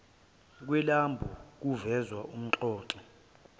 kwelambu kuveza umxoxi